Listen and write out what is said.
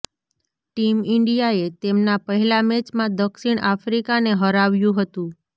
team ઈંડિયાએ તેમના પહેલા મેચમાં દક્ષિણ અફ્રીકાને હરાવ્યુ હતું